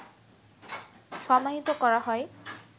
সমাহিত করা হয়